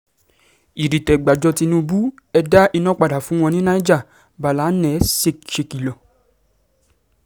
ìdìtẹ̀-gbájọ tínúbù ẹ̀ dá iná padà fún wọn ní niger- ballana sékìlọ̀